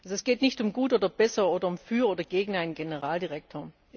Es geht nicht um gut oder besser oder um für oder gegen einen Generaldirektor.